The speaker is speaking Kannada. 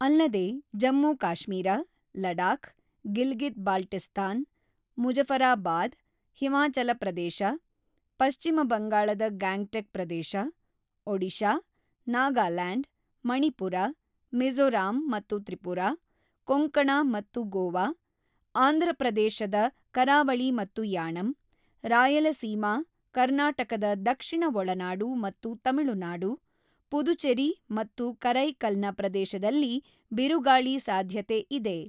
ಅಲ್ಲದೆ ಜಮ್ಮುಕಾಶ್ಮೀರ, ಲಡಾಖ್, ಗಿಲ್ಗಿತ್ ಬಾಲ್ಟಿಸ್ತಾನ್, ಮುಜಫರಾಬಾದ್, ಹಿಮಾಚಲಪ್ರದೇಶ, ಪಶ್ಚಿಮ ಬಂಗಾಳದ ಗ್ಯಾಂಗ್ ಟೆಕ್ ಪ್ರದೇಶ, ಒಡಿಶಾ, ನಾಗಾಲ್ಯಾಂಡ್, ಮಣಿಪುರ, ಮಿಝೋರಾಂ ಮತ್ತು ತ್ರಿಪುರಾ, ಕೊಂಕಣ ಮತ್ತು ಗೋವಾ, ಆಂಧ್ರಪ್ರದೇಶದ ಕರಾವಳಿ ಮತ್ತು ಯಾಣಂ, ರಾಯಲಸೀಮಾ, ಕರ್ನಾಟಕದ ದಕ್ಷಿಣ ಒಳನಾಡು ಮತ್ತು ತಮಿಳುನಾಡು, ಪುದುಚೆರಿ ಮತ್ತು ಕರೈಕಲ್ ನ ಪ್ರದೇಶದಲ್ಲಿ ಬಿರುಗಾಳಿ ಸಾಧ್ಯತೆ ಇದೆ.